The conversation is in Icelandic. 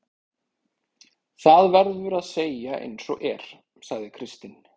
Það verður að segja eins og er, sagði Kristinn.